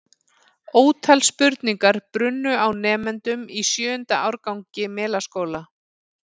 Ótal spurningar brunnu á nemendum í sjöunda árgangi Melaskóla.